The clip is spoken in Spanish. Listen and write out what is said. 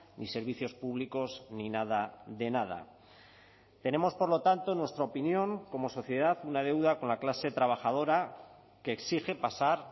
ni servicios públicos ni nada de nada tenemos por lo tanto en nuestra opinión como sociedad una deuda con la clase trabajadora que exige pasar